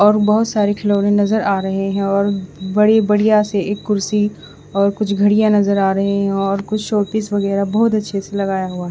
और बोहोत सारे खिलोने नज़र आ रहे है और बड़े बड़िया से एक कुर्सी और कुछ घड़िया नज़र आ रहे है और कुछ शोपीस वगेरा बोहोत अच्छे से लगाया हुआ--